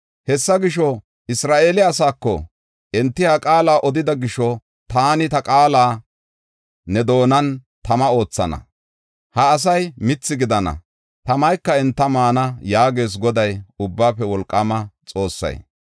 Hessa gisho, Isra7eele asaako, “Enti ha qaala odida gisho taani ta qaala ne doonan tama oothana; ha asay mithi gidana; tamayka enta maana” yaagees Goday, Ubbaafe Wolqaama Xoossay.